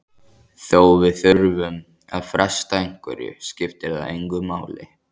Þó við þurfum að fresta einhverju skiptir það engu máli.